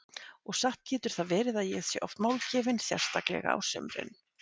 Og satt getur það verið að ég sé oft málgefin, sérstaklega á sumrin.